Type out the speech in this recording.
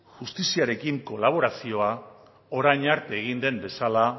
justiziarekin kolaborazioa orain arte egin den bezala